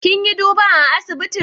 Kin yi duban a'asibitin?